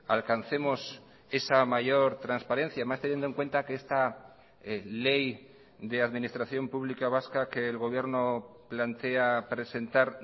alcancemos esa mayor transparencia más teniendo en cuenta que esta ley de administración pública vasca que el gobierno plantea presentar